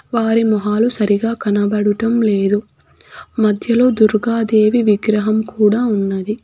వారి మొహాలు సరిగా కనబడుటం లేదు మధ్యలో దుర్గా దేవి విగ్రహం కూడా ఉన్నది.